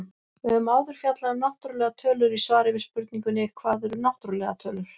Við höfum áður fjallað um náttúrlegar tölur í svari við spurningunni Hvað eru náttúrlegar tölur?.